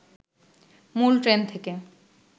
মূল ট্রেন থেকে